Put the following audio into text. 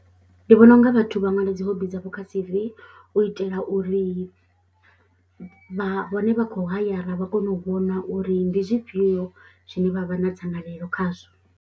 Ndi vhona u nga vhathu vha ṅwala dzi hobby dzavho kha C_V u itela uri vha vhane vha khou hayara vha kone u vhona uri ndi zwifhio zwine vha vha na dzangalelo khazwo.